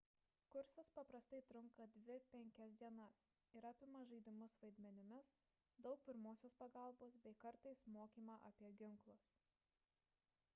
kursas paprastai trunka 2–5 dienas ir apima žaidimus vaidmenimis daug pirmosios pagalbos bei kartais mokymą apie ginklus